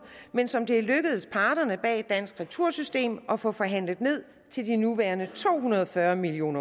men som det er lykkedes parterne bag dansk retursystem at få forhandlet ned til de nuværende to hundrede og fyrre million